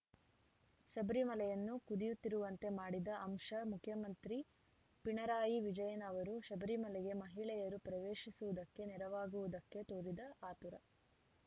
ಶಬರಿಮಲೆಯನ್ನು ಕುದಿಯುತ್ತಿರುವಂತೆ ಮಾಡಿದ ಅಂಶ ಮುಖ್ಯಮಂತ್ರಿ ಪಿಣರಾಯಿ ವಿಜಯನ್‌ ಅವರು ಶಬರಿಮಲೆಗೆ ಮಹಿಳೆಯರು ಪ್ರವೇಶಿಸುವುದಕ್ಕೆ ನೆರವಾಗುವುದಕ್ಕೆ ತೋರಿದ ಆತುರ